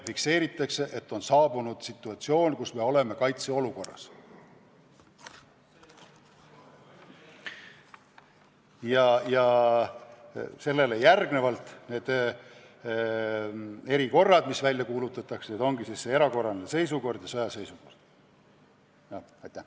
Fikseeritakse, et on tekkinud situatsioon, kus me oleme kaitseolukorras, ja sellele järgnevalt võidakse välja kuulutada kas erakorraline seisukord või sõjaseisukord.